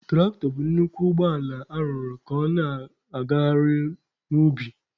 Tụraktọ bụ nnukwu ụgbọ ala arụrụ ka ọ na-agagharịnwu n'ubi.